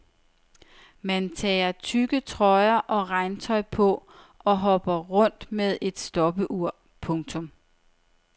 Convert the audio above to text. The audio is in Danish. Man tager tykke trøjer og regntøj på og hopper rundt med et stopur. punktum